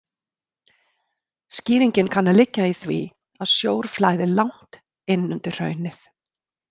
Skýringin kann að liggja í því að sjór flæðir langt innundir hraunið.